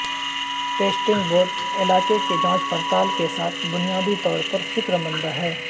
testing بوٹ علاقے کی جانچ پڑتال کے ساتھ بنیادی طور پر فکر مند ہے